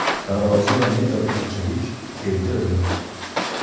Tarozi va metr o‘lchagich keltirildi.